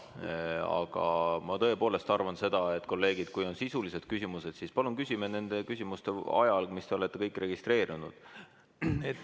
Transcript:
Aga ma tõepoolest arvan, kolleegid, et kui teil on sisulisi küsimusi, siis palun esitage need nende küsimuste ajal, millele te olete end registreerinud.